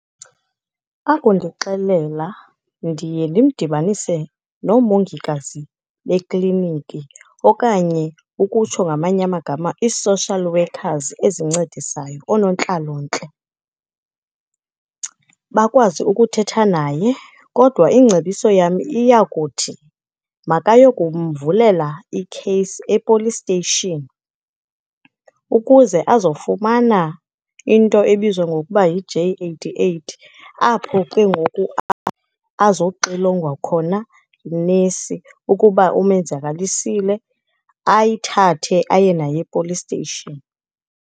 Akundixelela ndiye ndimdibanise noomongikazi bekliniki, okanye, ukutsho ngamanye amagama, i-social workers ezincedisayo, oonontlalontle bakwazi ukuthetha naye. Kodwa ingcebiso yam iyakuthi makaye kumvulela ikheyisi e-police station, ukuze azofumana into ebizwa ngokuba yi-J eighty-eight apho ke ngoku azoxilongwa khona yinesi. Ukuba umenzakalisile, ayithathe aye naye e-police station.